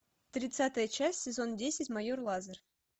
тридцатая часть сезон десять майор лазер